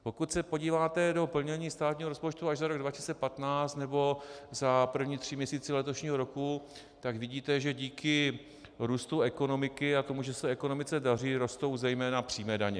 Pokud se podíváte do plnění státního rozpočtu ať za rok 2015, nebo za první tři měsíce letošního roku, tak vidíte, že díky růstu ekonomiky a tomu, že se ekonomice daří, rostou zejména přímé daně.